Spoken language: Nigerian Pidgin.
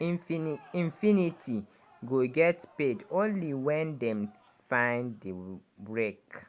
infinit infinity go get paid only wen dem find di wreck.